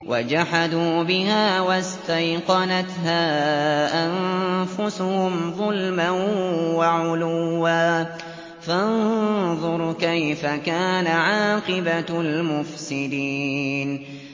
وَجَحَدُوا بِهَا وَاسْتَيْقَنَتْهَا أَنفُسُهُمْ ظُلْمًا وَعُلُوًّا ۚ فَانظُرْ كَيْفَ كَانَ عَاقِبَةُ الْمُفْسِدِينَ